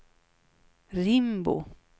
Rimbo